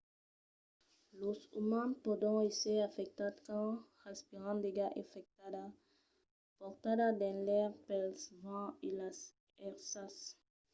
los umans pòdon èsser afectats quand respiran d'aiga afectada portada dins l'aire pel vent e las èrsas